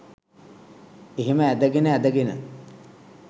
එහෙම ඇදගෙන ඇදගෙන